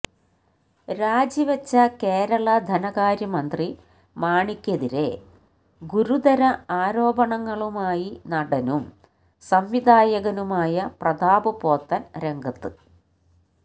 രാജിവെച്ച കേരള ധനകാര്യമന്ത്രി മാണിക്കെതിരെ ഗുരുതര ആരോപണങ്ങളുമായി നടനും സംവിധായകനുമായ പ്രതാപ് പോത്തന് രംഗത്ത്